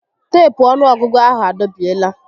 Teepu ọnụọgụgụ ahụ a dọbiela